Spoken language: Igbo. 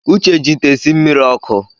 Uche ji ite esi mmiri ọkụ